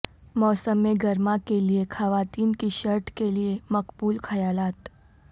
موسم گرما کے لئے خواتین کی شرٹ کے لئے مقبول خیالات